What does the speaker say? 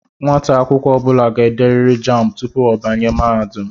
Nwata akwukwo obula ga-ederiri jámbu tupu o banye mahadum